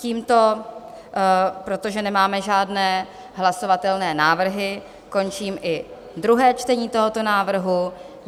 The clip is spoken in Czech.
Tímto, protože nemáme žádné hlasovatelné návrhy, končím i druhé čtení tohoto návrhu.